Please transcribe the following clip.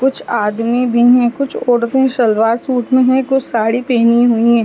कुछ आदमी भी हैं कुछ औरतें सलवार सूट में हैं कुछ साड़ी पेहनी हुई हैं।